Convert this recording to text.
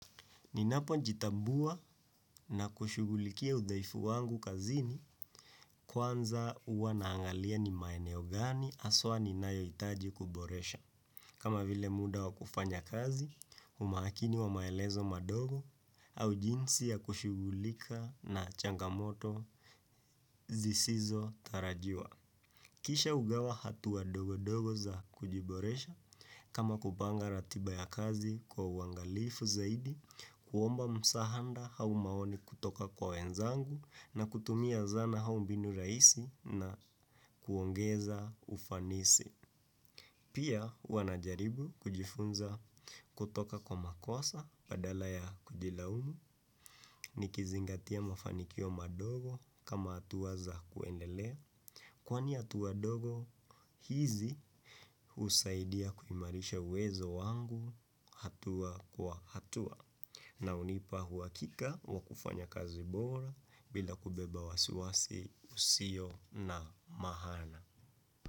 Ninapo jitambua na kushugulikia udhaifu wangu kazini kwanza huwa naangalia ni maeneo gani haswa ninayohitaji kuboresha. Kama vile muda wa kufanya kazi, umakini wa maelezo madogo au jinsi ya kushughulika na changamoto zisizo tarajiwa. Kisha hugawa hatua dogo dogo za kujiboresha kama kupanga ratiba ya kazi kwa uangalifu zaidi, kuomba msaada au maoni kutoka kwa wenzangu na kutumia zana au mbinu rahisi na kuongeza ufanisi. Pia huwa najaribu kujifunza kutoka kwa makosa bila kujilaumu nikizingatia mafanikio madogo kama hatua za kuendelea kwani hatua dogo hizi husaidia kuimarisha uwezo wangu hatua kwa hatua na hunipa uhakika wa kufanya kazi bora bila kubeba wasiwasi usio na maana.